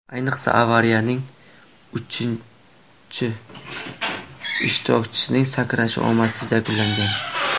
Ayniqsa, avariyaning uchinchi ishtirokchisining sakrashi omadsiz yakunlangan.